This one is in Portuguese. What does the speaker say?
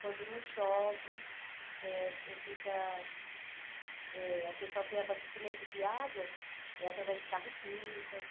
Quando não chove, eh fica eh o pessoal tem abastecimento de água é através de carro-pipas.